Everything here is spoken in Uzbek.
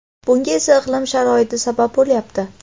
bunga esa iqlim sharoiti sabab bo‘lyapti.